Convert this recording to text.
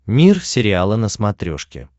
мир сериала на смотрешке